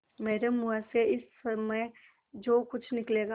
मेरे मुँह से इस समय जो कुछ निकलेगा